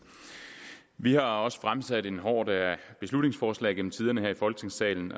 vi har også fremsat en horde af beslutningsforslag gennem tiderne her i folketingssalen